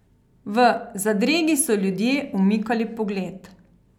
V zadregi so ljudje umikali pogled.